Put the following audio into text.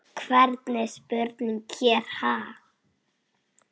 Hvernig spurning hér, ha?